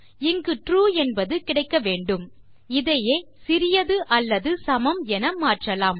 இங்கு ட்ரூ என்பது கிடைக்க வேண்டும் இதையே சிறியது அல்லது சமம் என மாற்றலாம்